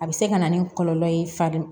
A bɛ se ka na ni kɔlɔlɔ ye farin